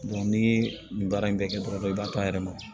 ni nin baara in bɛ kɛ dɔrɔn i b'a ta a yɛrɛ ma